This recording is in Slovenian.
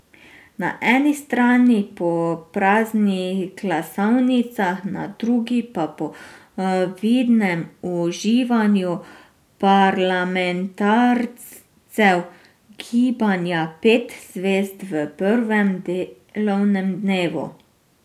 Na eni strani po praznih glasovnicah, na drugi pa po vidnem uživanju parlamentarcev gibanja Pet zvezd v prvem delovnem dnevu.